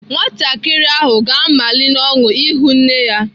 Nwatakịrị ahụ ga-amali n'ọṅụ ịhụ nne ya.